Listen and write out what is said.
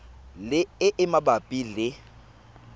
le e e mabapi le